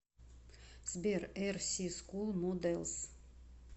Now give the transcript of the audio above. сбер эр си скул моделс